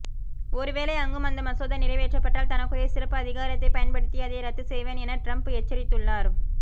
ஒருவேளை அங்கும் அந்த மசோதா நிறைவேற்றப்பட்டால் தனக்குரிய சிறப்பு அதிகாரத்தைப் பயன்படுத்தி அதை ரத்து செய்வேன் என டிரம்ப் எச்சரித்துள்ளார்